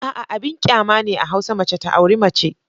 A'a! Abin kyama ne a hausa mace ta auri mace.